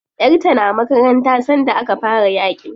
Yar ta na makaranta sanda aka fara yaƙin.